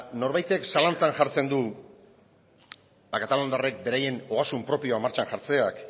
norbaitek zalantzan jartzen du kataluniarrek beraien ogasun propioa martxan jartzeak